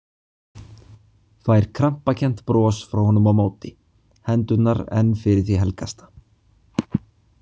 Fær krampakennt bros frá honum á móti, hendurnar enn fyrir því helgasta.